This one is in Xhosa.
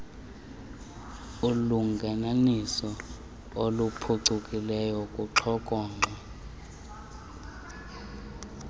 ulungelelwaniso oluphucukileyo kuxhokonxwe